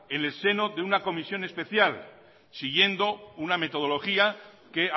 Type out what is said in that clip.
en el seno de una comisión especial siguiendo una metodología que